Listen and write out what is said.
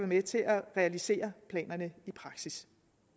med til at realisere planerne i praksis